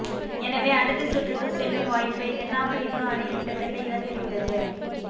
எனவே அடுத்த சுற்றுக்கு செல்லும் வாய்ப்பை தென்னாப்பிரிக்கா அணி கிட்டத்தட்ட இழந்துவிட்டது